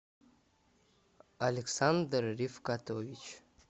александр рифкатович